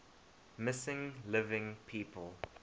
missing living people